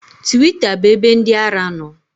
Twita bụ ebe ndị ara nọ